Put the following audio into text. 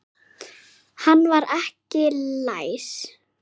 Hann var ekki læs.